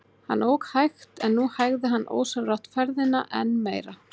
Hann ók hægt en nú hægði hann ósjálfrátt ferðina enn meira.